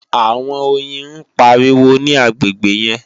àwọn oyin ń pariwo ní agbègbè yẹn